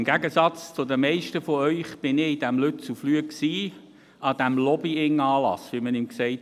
Im Gegensatz zu den meisten von Ihnen war ich in Lützelflüh, an diesem Lobbying-Anlass, wie man ihn nannte.